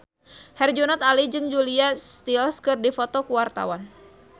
Herjunot Ali jeung Julia Stiles keur dipoto ku wartawan